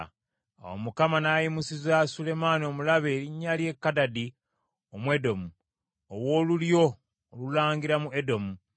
Awo Mukama n’ayimusiza Sulemaani omulabe erinnya lye Kadadi Omwedomu, ow’olulyo olulangira mu Edomu.